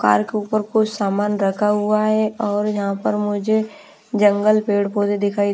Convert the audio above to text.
car के ऊपर कुछ सामान रखा हुआ है और यहाँ पर मुझे जंगल पेड़ पौधे दिखाई--